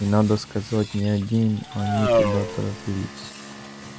и надо сказать не одни они туда торопились